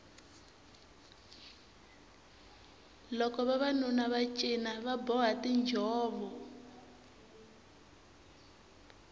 loko vavanuna va cina va boha tinjhovo